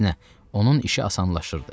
Əksinə, onun işi asanlaşırdı.